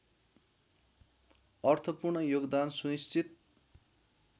अर्थपूर्ण योगदान सुनिश्चित